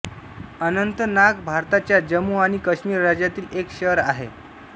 अनंतनाग भारताच्या जम्मू आणि काश्मीर राज्यातील एक शहर आहे